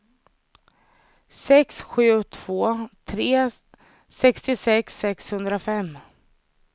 sex sju två tre sextiosex sexhundrafem